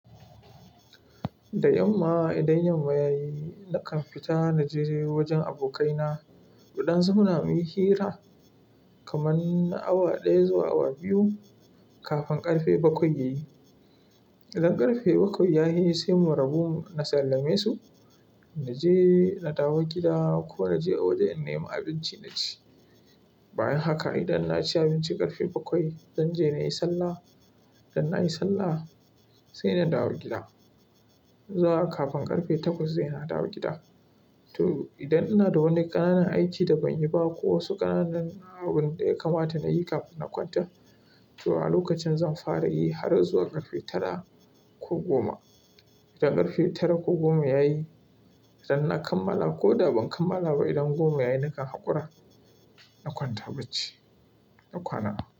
Da yamma idan yamma ya yi, na kan fita na je wajen abokaina. Muɗan su muna muyi hira kaman na awa ɗaya zuwa awa biyu kafin ƙarfe bakwai ya yi. Idan ƙarfe bakwai ya yi sai mu rabu, na sallame su na je na dawo gida ko na je a wajen na yi ma abinci na ci. Bayan haka idan na ci abinci ƙarfe bakwai, zan je na yi sallah. Idan na yi sallah sai na dawo gida. Zuwa kafin ƙarfe takwas dai na dawo gida. To idan ina da wani ƙananan aiki da ban yi ba ko wasu ƙananan abun da ya kamata na yi kafin na kwanta, to a lokacin zan fara yi har zuwa ƙarfe tara ko goma. Idan ƙarfe tara ko goma ya yi, idan na kammala ko da ban kammala ba idan goma ya yi na kan haƙura na kwanta bacci, na kwana.